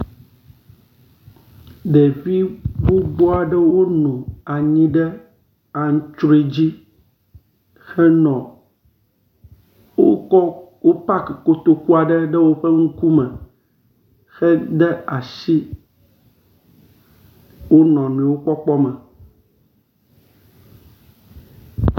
Ɖevi gbogbo aɖewo nɔ anyi ɖe aŋtsroe dzi henɔ wokɔ wopaki kotoku aɖe ɖe woƒe ŋkume heda asi wonɔnuiwo kpɔkpɔ me.